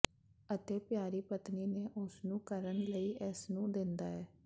ਅਤੇ ਪਿਆਰੀ ਪਤਨੀ ਨੇ ਉਸ ਨੂੰ ਕਰਨ ਲਈ ਇਸ ਨੂੰ ਦਿੰਦਾ ਹੈ